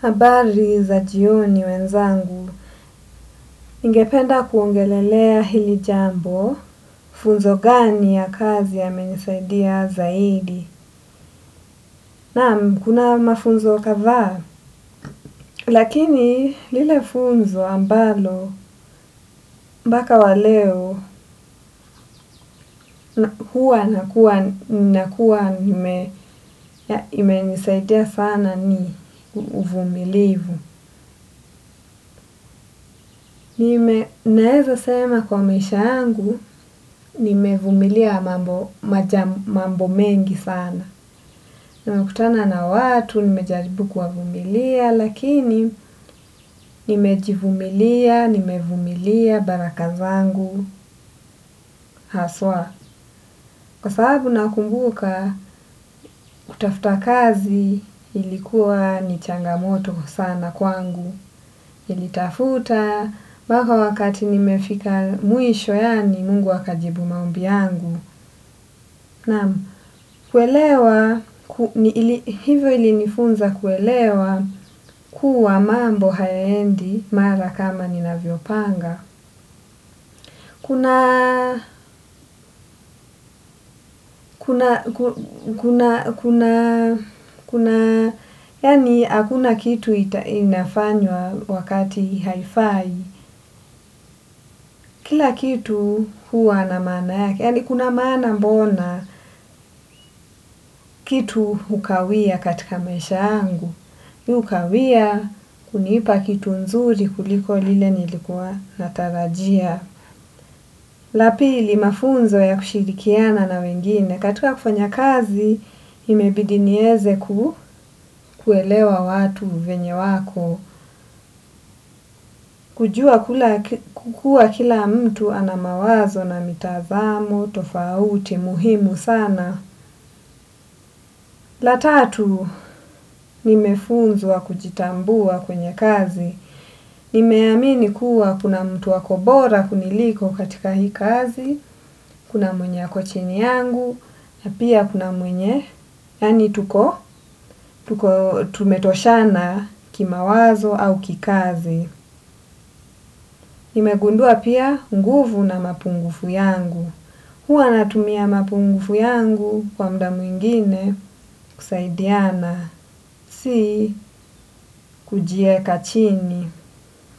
Habari za jioni wenzangu, ningependa kuongelelea hili jambo, funzo gani ya kazi yamenisaidia zaidi. Naam kuna mafunzo kadhaa, lakini lile funzo ambalo mpaka wa leo huwa nakuwa nakuwa imenisaidia sana ni uvumilivu. Nime naeza sema kwa meisha yangu, nimevumilia mambo maja mambo mengi sana. Nimekutana na watu, nimejaribu kuwavumilia, lakini nimejivumilia, nimevumilia, baraka zangu, haswa. Kwa sababu nakumbuka, kutafuta kazi ilikuwa ni changa moto sana kwangu. Nilitafuta mpaka wakati nimefika mwisho yaani mungu akajibu maombi yangu. Naam, kuelewa, hivyo ili nifunza kuelewa kuwa mambo hayaendi mara kama ninavyo panga. Kuna, kuna, kuna, kuna, kuna, kuna, yaani hakuna kitu inafanywa wakati haifai. Kila kitu huwa na maana yake, yaani kuna maana mbona kitu hukawia katika maisha yangu. Hukawia kunipa kitu nzuri kuliko lile nilikua natarajia. La pili mafunzo ya kushirikiana na wengine, katika kufanya kazi imebidi nieze kuelewa watu venye wako. Kujua kukua kila mtu ana mawazo na mitazamo, tofauti, muhimu sana. La tatu, nimefunzwa kujitambua kwenye kazi. Nimeamini kuwa kuna mtu ako bora kuniliko katika hii kazi, kuna mwenye ako chini yangu, ya pia kuna mwenye, yaani tuko, tumetoshana kimawazo au kikazi. Nimegundua pia nguvu na mapungufu yangu. Huwa natumia mapungufu yangu kwa muda mwingine kusaidiana. Si kujiweka chini.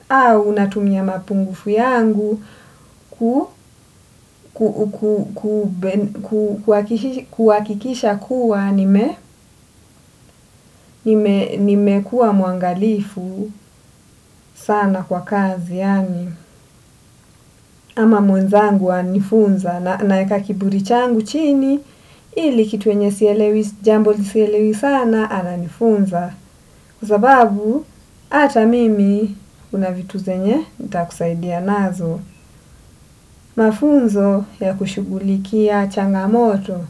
Au natumia mapungufu yangu kuhakikisha kuwa nimekua muangalifu sana kwa kazi. Ama mwenzangu ana nifunza naweka kiburi changu chini ili kitu yenye sielewi jambo sielewi sana ana nifunza kwa sababu ata mimi kuna vitu zenye nitakusaidia nazo mafunzo ya kushugulikia changa moto.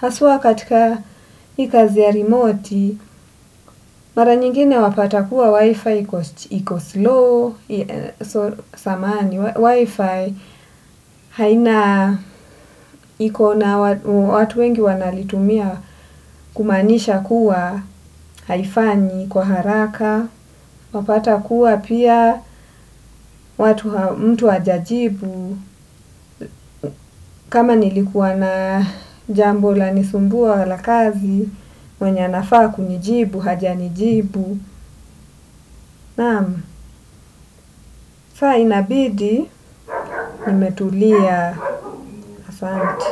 Hasua katika hii kazi ya remote, mara nyingine wapata kuwa wi-fi iko slow, wi-fi haina ikona watu wengi wanaitumia kumaanisha kuwa haifanyi kwa haraka. Wapata kuwa pia mtu haja jibu kama nilikuwa na jambo lanisumbua la kazi mwenye anafaa kunijibu hajanijibu naam sa inabidi nimetulia asante.